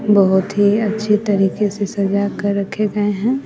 बहोत ही अच्छे तरीके से सजा के रखे गए हैं।